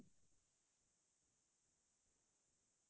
বহুত ধুনীয়া বৰফৰে আমি